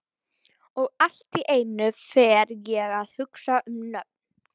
Og allt í einu fer ég að hugsa um nöfn.